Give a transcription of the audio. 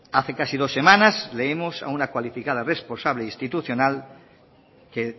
hace casi dos semanas leímos a una cualificada responsable institucional que